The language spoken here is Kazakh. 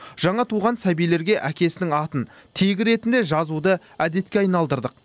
жаңа туған сәбилерге әкесінің атын тегі ретінде жазуды әдетке айналдырдық